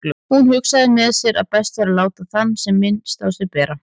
Hún hugsaði með sér að best væri að láta sem minnst á sér bera.